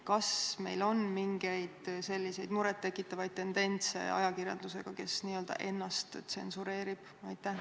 Kas meil on mingeid muret tekitavaid tendentse ajakirjandusega, kes n-ö ennast tsenseerib?